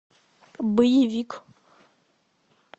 боевик